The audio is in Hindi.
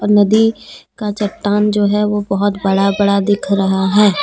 नदी का चट्टान जो है वो बहोत बड़ा बड़ा दिख रहा है।